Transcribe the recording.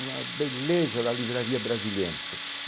Uma beleza da Livraria Brasiliense.